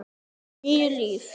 Níu líf